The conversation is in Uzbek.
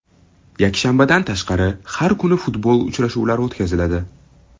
Yakshanbadan tashqari, har kuni futbol uchrashuvlari o‘tkaziladi.